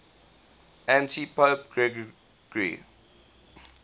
antipope gregory